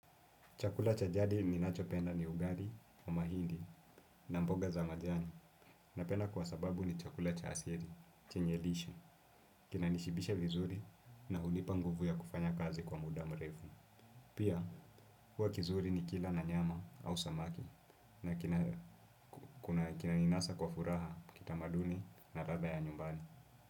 Chakula cha jadi ninachopenda ni ugali, mahindi na mboga za majani. Napenda kwa sababu ni chakula cha asili, chenye lishe, kinanishibisha vizuri na hunipa nguvu ya kufanya kazi kwa muda mrefu. Pia, huwa kizuri nikila na nyama au samaki na kinaninasa kwa furaha kitamaduni na ladha ya nyumbani.